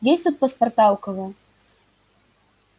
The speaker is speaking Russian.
есть тут паспорта у кого